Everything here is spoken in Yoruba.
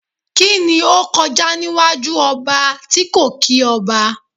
Kíni ó kọjá níwájú ọba tí kò kí ọba?